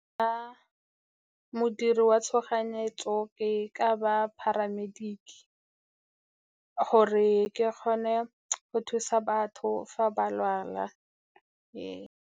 Ka modiri wa tshoganyetso ke ka ba paramedic-e, gore ke kgone go thusa batho fa ba lwala, ee.